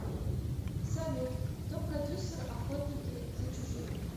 салют кто продюссер охотники за чужими